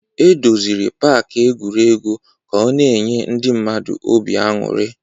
E doziri pak egwuregwu ka ọ na-enye ndị mmadụ obi aṅụrị